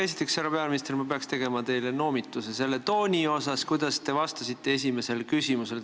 Esiteks, härra peaminister, ma peaks tegema teile noomituse selle tooni pärast, kuidas te vastasite esimesele küsimusele.